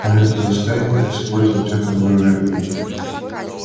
а это заставит их использовать атомную энергию